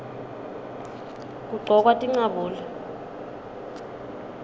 kugcokwa tincabule